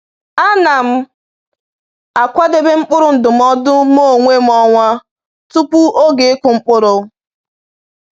A na m akwadebe mkpụrụ ndụmọdụ m onwe m ọnwa tupu oge ịkụ mkpụrụ.